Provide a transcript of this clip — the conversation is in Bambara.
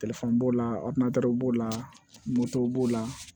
b'o la b'o la b'o la